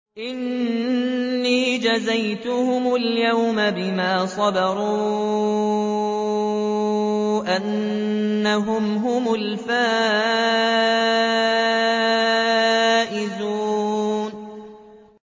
إِنِّي جَزَيْتُهُمُ الْيَوْمَ بِمَا صَبَرُوا أَنَّهُمْ هُمُ الْفَائِزُونَ